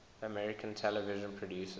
american television producers